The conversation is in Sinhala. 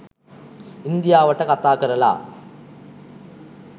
ඉන්දියාවට කතාකරලා